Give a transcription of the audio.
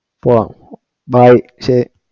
പോകാം bye ശരി